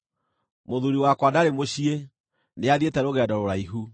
Mũthuuri wakwa ndarĩ mũciĩ; nĩathiĩte rũgendo rũraihu.